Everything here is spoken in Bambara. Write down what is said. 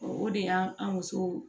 O de y'an musow